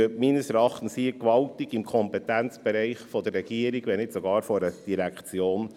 Meines Erachtens bewegen wir uns mit dieser Diskussion gewaltig im Kompetenzbereich der Regierung, wenn nicht sogar einer Direktion.